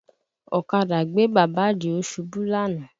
Ọ̀kadà gbé bàbá Àdìó ṣubú lánàá